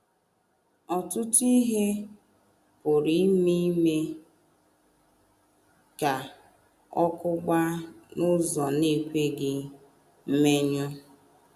Ọtụtụ ihe pụrụ ime ime ka ọkụ gbaa n’ụzọ na - ekweghị mmenyụ.